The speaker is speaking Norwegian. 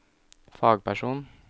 fagperson